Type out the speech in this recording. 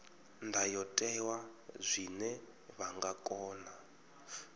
ndayotewa zwine vha nga kona